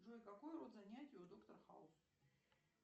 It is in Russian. джой какой род занятий у доктора хаус